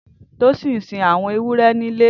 Tosin n sin awọn éwùrè nilé